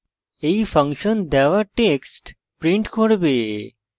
এই ফাংশন দেওয়া text print করবে